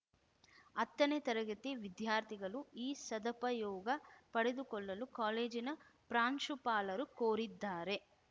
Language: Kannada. ಹತ್ತನೇ ತರಗತಿ ವಿದ್ಯಾರ್ಥಿಗಳು ಈ ಸದಪಯೋಗ ಪಡೆದುಕೊಳ್ಳಲು ಕಾಲೇಜಿನ ಪ್ರಾಂಶುಪಾಲರು ಕೋರಿದ್ದಾರೆ